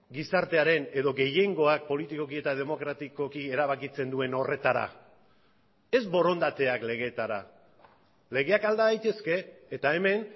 gizartearen edo gehiengoak politikoki eta demokratikoki erabakitzen duen horretara ez borondateak legetara legeak alda daitezke eta hemen